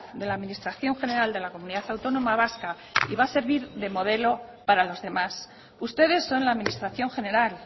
de la administración general de la comunidad autónoma vasca y va a servir de modelo para los demás ustedes son la administración general